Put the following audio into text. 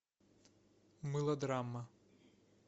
мылодрама